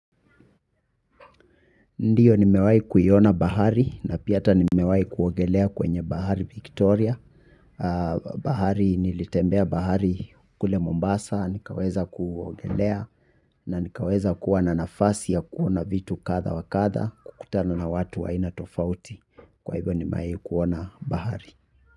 Ndiyo nimewai kuiona bahari na pia ata nimewai kuogelea kwenye bahari Victoria. Bahari nilitembea bahari kule Mombasa. Nikaweza kuogelea na nikaweza kuwa na nafasi ya kuona vitu katha wa katha. Kukutana na watu wa aina tofauti. Kwa hivyo nimewai kuona bahari.